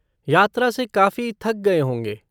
यात्रा से काफ़ी थक गए होंगे।